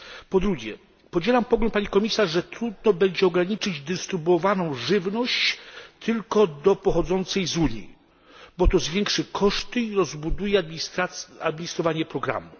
Po drugie, podzielam pogląd pani komisarz, że trudno będzie ograniczyć dystrybuowaną żywność tylko do pochodzącej z Unii, bo to zwiększy koszty i rozbuduje część administracyjną programu.